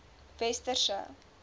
westerse